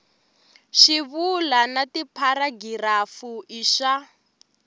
swivulwa na tipharagirafu i swa